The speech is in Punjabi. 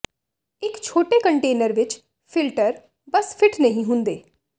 ਇੱਕ ਛੋਟੇ ਕੰਨਟੇਨਰ ਵਿੱਚ ਫਿਲਟਰ ਬਸ ਫਿੱਟ ਨਹੀਂ ਹੁੰਦੇ